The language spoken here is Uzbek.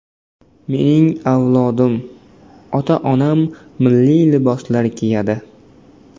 Mening avlodim, ota-onam milliy liboslar kiyadi.